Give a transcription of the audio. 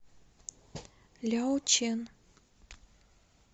ляочэн